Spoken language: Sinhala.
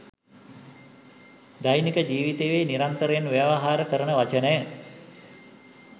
දෛනික ජීවිතයේ නිරන්තරයෙන් ව්‍යවහාර කරන වචනය.